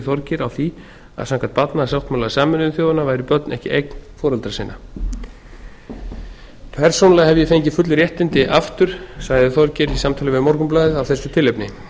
þorgeir á því að samkvæmt barnasáttmála sameinuðu þjóðanna væru börn ekki eign foreldra sinna persónulega hef ég fengið full réttindi aftur sagði þorgeir í samtali við morgunblaðið af þessu tilefni